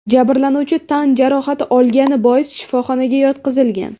Jabrlanuvchi tan jarohati olgani bois shifoxonaga yotqizilgan.